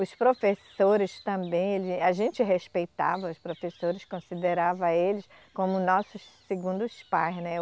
Os professores também, ele, a gente respeitava os professores, considerava eles como nossos segundos pais, né?